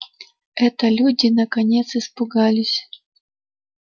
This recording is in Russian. это люди наконец испугались